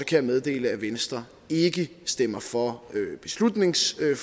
jeg meddele at venstre ikke stemmer for beslutningsforslaget